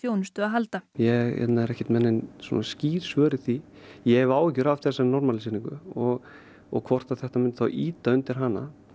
þjónustu að halda ég er ekki með nein skýr svör í því ég hef áhyggjur af þessari normalíseringu og og hvort að þetta myndi þá ýta undir hana